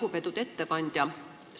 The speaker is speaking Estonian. Lugupeetud ettekandja!